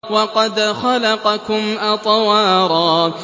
وَقَدْ خَلَقَكُمْ أَطْوَارًا